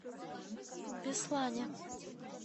беслане